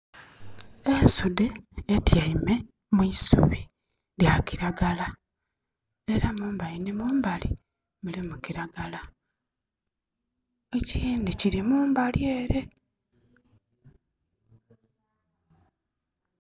Ensudde etiame mwisubi lya kiragala era mumbali ni mumbali mulimu kiragala. Ekyindi kiri mumbali ere.